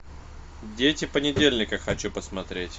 дети понедельника хочу посмотреть